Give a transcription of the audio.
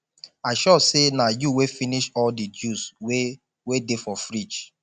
i sure say na you wey finish all the juice wey wey dey for fridge